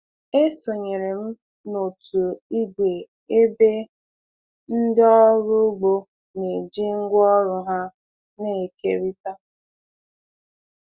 Esonyere m n'òtù igwe ebe ndị ọrụ ugbo na-eji ngwaọrụ ha na-ekerịta.